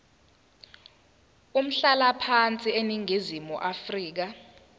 umhlalaphansi eningizimu afrika